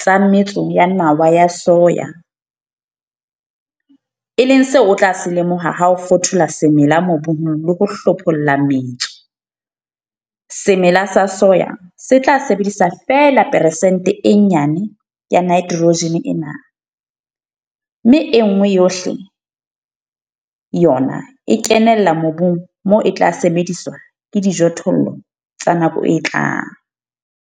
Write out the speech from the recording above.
tsa metso ya nawa ya soya, e leng seo o tla se lemoha ha o fothola semela mobung le ho hlopholla metso, semela sa soya se tla sebedisa feela peresente e nyane ya nitrogen ena, mme e nngwe yohle yona e kenella mobung moo e tla sebediswa ke dijothollo tsa nako e tlang.